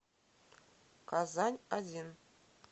казань один